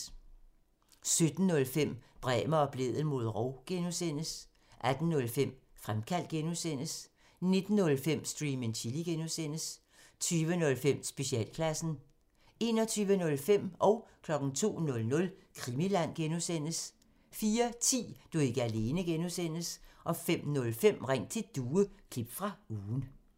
17:05: Bremer og Blædel mod rov (G) 18:05: Fremkaldt (G) 19:05: Stream and Chill (G) 20:05: Specialklassen 21:05: Krimiland (G) 02:00: Krimiland (G) 04:10: Du er ikke alene (G) 05:05: Ring til Due – klip fra ugen